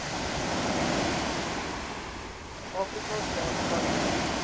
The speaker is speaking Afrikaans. afrika staan khanya